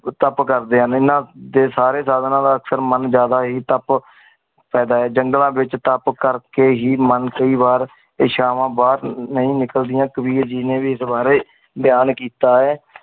top ਕੇਰ ਦਿਯਾ ਨੀ ਨਾ ਏ ਸਾਰੀ ਜੜਾਂ ਵਾਲਾ ਸਰਮਾਂ ਜ਼ਾਯਦਾ ਹੀ ਟਾਪ ਪਾਯਦਾ ਆਏ ਜੰਗਲਾਂ ਵਿਚ ਟਾਪ ਕੇਰ ਕੀ ਹੀ ਮਨ ਕੀ ਵਾਰ ਏਸ਼ਾਵਾ ਬਾਦ ਨਾਈ ਨਿਕਲ ਦੀਆ ਕਬੀਰ ਜਿਨੀ ਵੀ ਸਵਾਰੀ ਬਯਾਂ ਕੀਤਾ ਆਏ